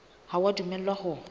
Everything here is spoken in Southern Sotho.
ha o a dumellwa ho